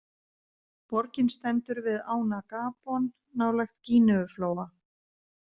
Borgin stendur við ána Gabon, nálægt Gíneuflóa.